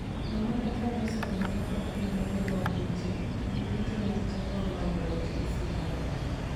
Namanda kane oseneno kaka Opiyo ne gengo opiche , gin duto negi chako manyo loch gi sinani